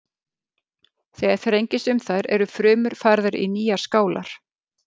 Þegar þrengist um þær eru frumur færðar í nýjar skálar.